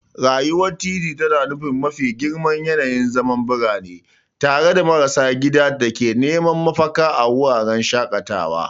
Rayuwar titi tana nuna mafi girman yanayin zaman birane, tare da marasa gida da ke neman mafaka a wuraren shakatawa.